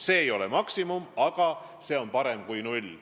See ei ole maksimum, aga see on parem kui null.